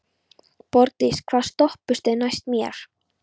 Borgdís, hvaða stoppistöð er næst mér?